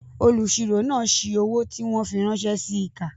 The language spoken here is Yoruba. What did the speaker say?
Olùsirò náà si owó tí wọ́n fi ránṣẹ́ síi kà